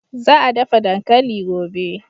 Za a dafa dankali gobe.